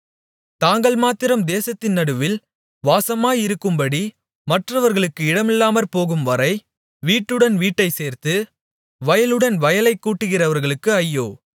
தாங்கள்மாத்திரம் தேசத்தின் நடுவில் வாசமாயிருக்கும்படி மற்றவர்களுக்கு இடமில்லாமற்போகும்வரை வீட்டுடன் வீட்டைச் சேர்த்து வயலுடன் வயலைக் கூட்டுகிறவர்களுக்கு ஐயோ